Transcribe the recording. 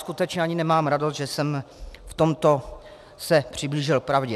Skutečně ani nemám radost, že jsem se v tomto přiblížil pravdě.